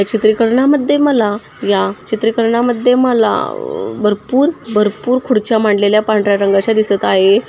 चित्रीकरना मध्ये मला या चित्रीकरना मध्ये मला आ भरपूर भरपूर खूर्च्या मांडलेल्या पांढर्‍या रंगाच्या दिसत आहे.